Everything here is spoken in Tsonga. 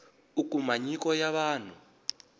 u kuma nyiko ya vanhu